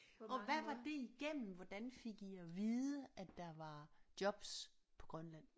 Og hvad var det igennem hvordan fik I at vide at der var jobs på Grønland